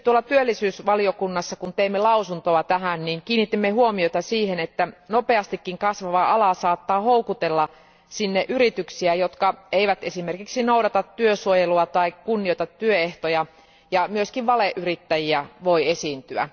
Työllisyysvaliokunnassa, kun teimme lausuntoa tähän, kiinnitimme erityisesti huomiota siihen, että nopeastikin kasvava ala saattaa houkutella yrityksiä, jotka eivät esimerkiksi noudata työsuojelua tai kunnioita työehtoja, ja myös valeyrittäjiä voi esiintyä.